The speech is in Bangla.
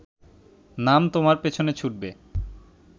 নাম তোমার পেছনে ছুটবে